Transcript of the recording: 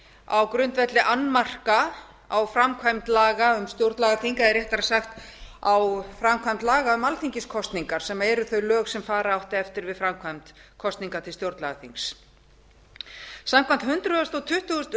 á grundvelli annmarka á framkvæmd laga um stjórnlagaþing eða réttara sagt á framkvæmd laga um alþingiskosningar sem eru þau lög sem fara átti eftir við framkvæmd kosninga til stjórnlagaþings samkvæmt